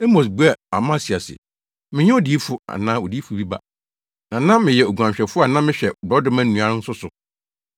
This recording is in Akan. Amos buaa Amasia se, “Mennyɛ odiyifo anaa odiyifo bi ba, na na meyɛ oguanhwɛfo a na mehwɛ borɔdɔma nnua nso so.